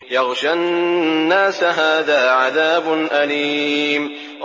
يَغْشَى النَّاسَ ۖ هَٰذَا عَذَابٌ أَلِيمٌ